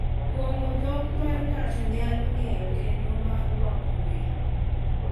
Kuong’o dhok ma ng’ato nyalo ng’eyo kendo ma rwako welo—